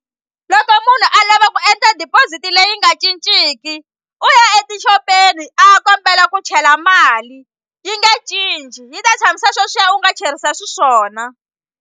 Loko munhu a lava ku endla deposit leyi nga cinciki u ya etixopeni a ya kombela ku chela mali yi nge cinci yi ta tshamisa sweswiya u nga cherisa xiswona.